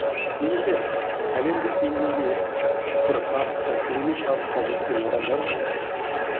немесе әлемдік деңгейге бір табысқа керемет табысқа жеткен адамдар бар